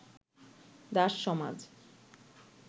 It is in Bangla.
দাস-সমাজ